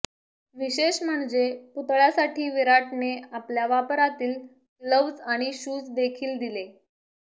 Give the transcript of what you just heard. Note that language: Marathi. विशेष म्हणजे पुतळ्यासाठी विराटने आपल्या वापरातील ग्लव्हज आणि शूज देखील दिले